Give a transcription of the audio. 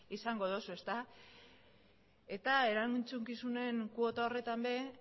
izango duzu eta erantzukizunen kuota horretan ere